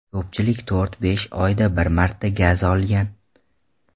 Ko‘pchilik to‘rt-besh oyda bir marta gaz olgan.